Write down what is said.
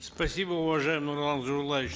спасибо уважаемый нурлан зайроллаевич